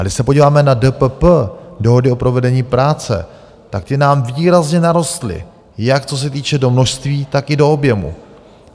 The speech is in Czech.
A když se podíváme na DPP, dohody o provedení práce, tak ty nám výrazně narostly jak co se týče do množství, tak i do objemu.